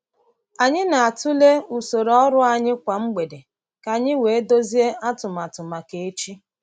Anyị na-atụle usoro ọrụ anyị kwa mgbede ka anyị wee dozie atụmatụ maka echi.